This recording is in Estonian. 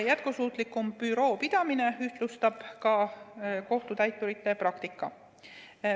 Jätkusuutlikum büroo pidamine ühtlustab ka kohtutäiturite praktikat.